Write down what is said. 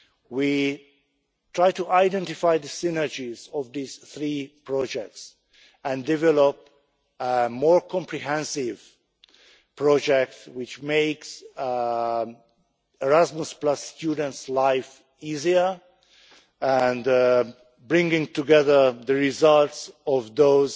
We are trying to identify the synergies of these three projects and develop more comprehensive projects which make Erasmus students' lives easier, bringing together the results of those